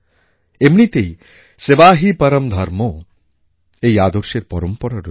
এমনিতেই সেবা হি পরম ধর্ম এই আদর্শের পরম্পরা রয়েছে